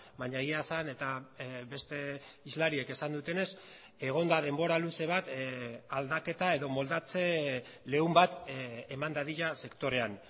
baina egia esan eta beste hizlariek esan dutenez egon da denbora luze bat aldaketa edo moldatze leun bat eman dadila sektorean